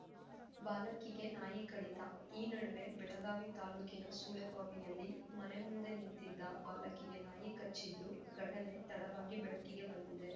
ಬಾಲಕಿಗೆ ನಾಯಿ ಕಡಿತ ಬಾಲಕಿಗೆ ನಾಯಿ ಕಡಿತ ಈ ನಡುವೆ ಬೆಳಗಾವಿ ತಾಲೂಕಿನ ಸುಳೆಬಾವಿಯಲ್ಲಿ ಮನೆ ಮುಂದೆ ನಿಂತಿದ್ದ ಬಾಲಕಿಗೆ ನಾಯಿ ಕಚ್ಚಿದ್ದು ಘಟನೆ ತಡವಾಗಿ ಬೆಳಕಿಗೆ ಬಂದಿದೆ